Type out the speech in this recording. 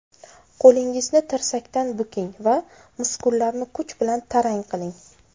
Qo‘lingizni tirsakdan buking va muskullarni kuch bilan tarang qiling.